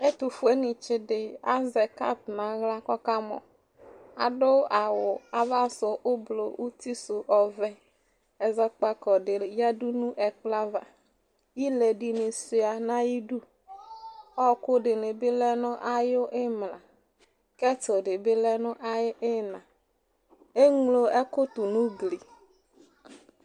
Ɛtʋfuenɩtsɩ dɩ azɛ kɔpʋ n'aɣla kɔka mɔ Adʋ awʋ ava sʋɛ ʋblʋ uti sʋɛ ɔvɛ Ɛzɔkpako dɩ yǝdu n'ɛkplɔava ,ile dɩnɩ sʋia n'ayidu ,ɔɔkʋ dɩnɩ bɩ lɛ nʋ ayʋ ɩmla ( )dɩ bɩ lɛ nʋ ayʋ ɩyɩna Eŋlo ɛkʋ tʋ n'ugli